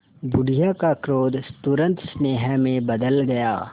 बुढ़िया का क्रोध तुरंत स्नेह में बदल गया